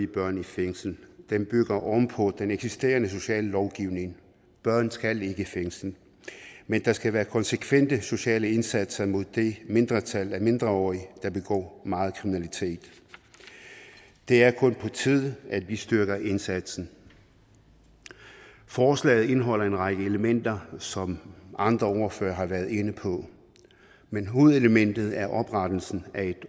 børn i fængsel den bygger oven på den eksisterende sociallovgivning børn skal ikke i fængsel men der skal være konsekvente sociale indsatser mod det mindretal af mindreårige der begår meget kriminalitet det er kun på tide at vi styrker indsatsen forslaget indeholder en række elementer som andre ordførere har været inde på men hovedelementet er oprettelsen af